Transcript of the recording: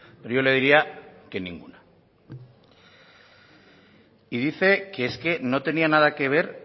pero yo le diría que ninguna y dice que es que no tenía nada que ver